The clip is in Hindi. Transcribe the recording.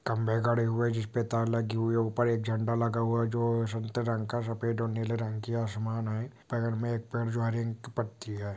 खंबे गड्ढे हुए जिस पर ताला की हुए ऊपर एक झंडा लगा हुआ है जो संथ रंग सफेद और नीले रंग की आसमान है पड़े में एक पेड़ जॉइनिंग की पट्टी है।